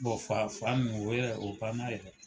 fa nunnu o yɛrɛ o banna yɛrɛ.